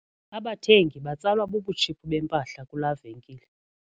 Abathengi batsalwa bubutshiphu bempahla kulaa venkile.